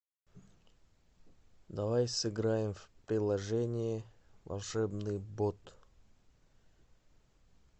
давай сыграем в приложение волшебный бот